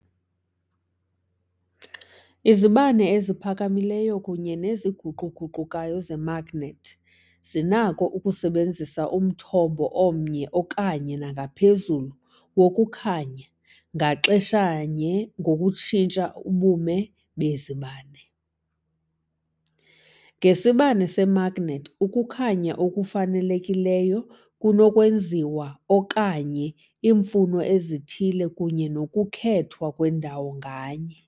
Izibane eziphakamileyo kunye neziguquguqukayo zemagnethi zinakho ukusebenzisa umthombo omnye okanye nangaphezulu wokukhanya ngaxeshanye ngokutshintsha ubume bezibane. Ngesibane semagnethi, ukukhanya okufanelekileyo kunokwenziwa okanye iimfuno ezithile kunye nokukhethwa kwendawo nganye.